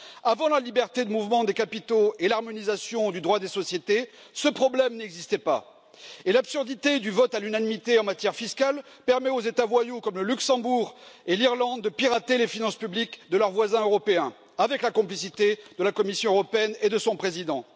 Avant la liberté de mouvement des capitaux et l'harmonisation du droit des sociétés, ce problème n'existait pas. Et l'absurdité du vote à l'unanimité en matière fiscale permet aux États voyous comme le Luxembourg et l'Irlande de pirater les finances publiques de leurs voisins européens, avec la complicité de la Commission européenne et de son président.